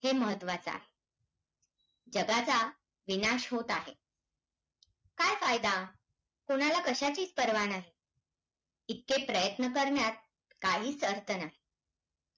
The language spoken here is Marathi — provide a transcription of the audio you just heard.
ही अमेरिकेचे अध्यक्ष John F.Candy यांचा लाडके वाक्य महाराष्ट्राने अनेकदा ऐकले आहे हे भूमी हे सुभाषित करे ही आहे